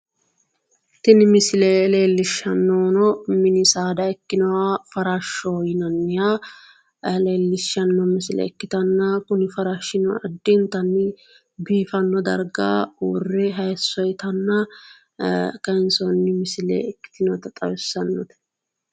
tini misile leellishshannohuno mini saada ikkinoha farashshoho yinanniha leellishshanno misile ikkitanna kuni farashshino addintanni biifanno darga uurre hayisso itanna kayinsoonni misile ikkitinota xawissannote.